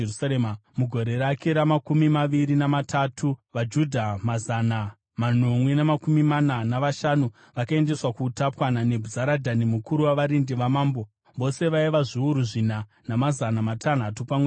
mugore rake ramakumi maviri namatatu, vaJudha mazana manomwe namakumi mana navashanu vakaendeswa kuutapwa naNebhuzaradhani mukuru wavarindi vamambo. Vose vaiva zviuru zvina namazana matanhatu pamwe chete.